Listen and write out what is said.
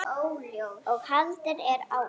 og haldið er áfram.